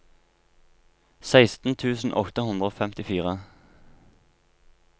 seksten tusen åtte hundre og femtifire